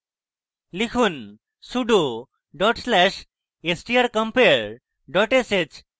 লিখুন sudo dot slash strcompare dot sh